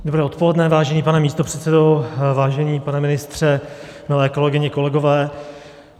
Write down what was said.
Dobré odpoledne, vážený pane místopředsedo, vážený pane ministře, milé kolegyně, kolegové.